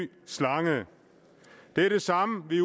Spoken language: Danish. slange det er det samme vi